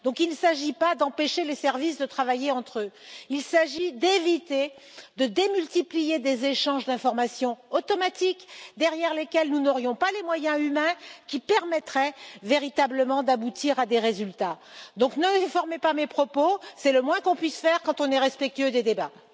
Donc, il ne s'agit pas d'empêcher les services de travailler entre eux, il s'agit d'éviter de démultiplier des échanges d'informations automatiques, derrière lesquels nous n'aurions pas les moyens humains qui permettraient véritablement d'aboutir à des résultats. Donc ne déformez pas mes propos, c'est le moins qu'on puisse faire quand on est respectueux des débats.